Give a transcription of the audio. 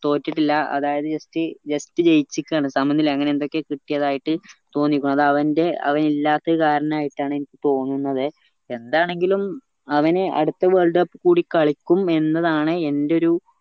തൊട്ടിട്ടില്ല അതായത് just just ജയിച്ചിക്കാണ് സമനില അങ്ങനെ എന്തൊക്കയോ കിട്ടിയതായിട്ട് തോന്നിക്ക അത് അവന്റെ അവൻ ഇല്ലാത്ത കാരണയിട്ട എനിക്ക് തോന്നുന്നതേ എന്താണെങ്കിലും അവന് അടുത്ത world cup കൂടി കളിക്കും എന്നതാണ് എന്റെ ഒരു